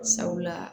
Sabula